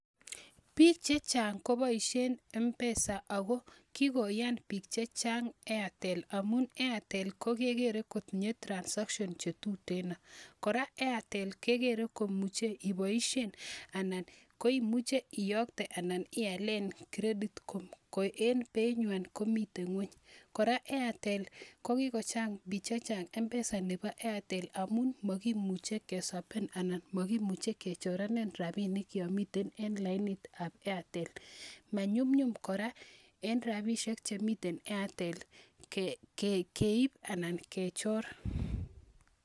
Biik che chang ko boishen mpesa ako kikoyan biik che chang Airtel amun Airtel kegere kotinye transaction che tuteno, kora Airtel kegere ko muche keboishe anan koimuche iyokte anan ialen credit ko en beinywan komiten ng'weny. Kora Airtel ko kikochang bii che chang eng mpesa nebo Airtel amun makimuche keswapen anan makimuche kechoranen rabinik yomiten eng lainitab Airtel, manyunyum kora eng rabishek che mi Airtel keib anan kechor.